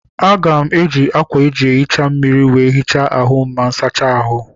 Aga m eji ákwà eji ehicha mmiri wee hichaa ahụ ma m sachaa ahụ.